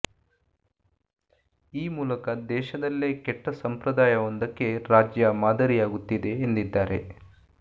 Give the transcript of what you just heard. ಈ ಮೂಲಕ ದೇಶದಲ್ಲೆ ಕೆಟ್ಟ ಸಂಪ್ರದಾಯವೊಂದಕ್ಕೆ ರಾಜ್ಯ ಮಾದರಿಯಾಗುತ್ತಿದೆ ಎಂದಿದ್ದಾರೆ